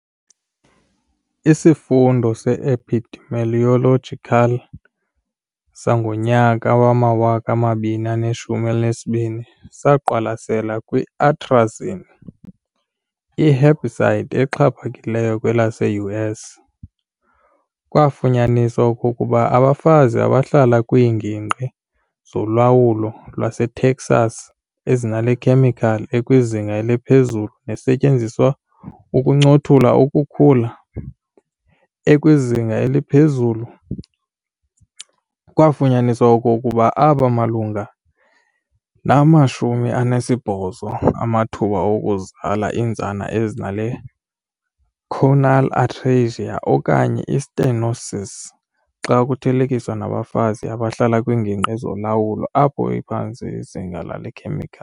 Isifundo se-epidemiological sango-2012 saqwalasela kwi-atrazine, i-herbicide exhaphakileyo kwelase-U.S., kwafunyaniswa okokuba abafazi abahlala kwiingingqi zolwawulo lwaseTexas ezinale khemikhali ekwizinga eliphezulu nesetyenziselwa ukuncothula ukhula ekwizinga eliphezulu, kwaafunyaniswa okokuba abamalunga nama-80 amathuba okuzala iintsana ezinale choanal atresia okanye i-stenosis xa kuthelekiswa nabafazi abahlala kwiingingqi zolwawulo apho liphantsi izinga lale khemikhali.